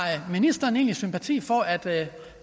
ministeren egentlig sympati for at